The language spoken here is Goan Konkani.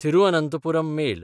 तिरुअनंथपुरम मेल